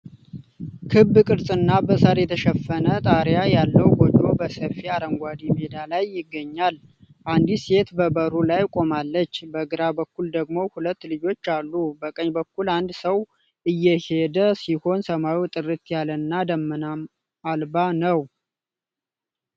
ክብ ቅርጽና በሳር የተሸፈነ ጣሪያ ያለው ጎጆ በሰፊ አረንጓዴ ሜዳ ላይ ይገኛል። አንዲት ሴት በበሩ ላይ ቆማለች። በግራ በኩል ደግሞ ሁለት ልጆች አሉ። በቀኝ በኩል አንድ ሰው እየሄደ ሲሆን ሰማዩ ጥርት ያለና ደመና አልባ ነው።